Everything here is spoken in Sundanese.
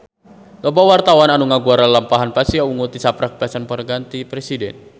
Loba wartawan anu ngaguar lalampahan Pasha Ungu tisaprak dipasihan panghargaan ti Presiden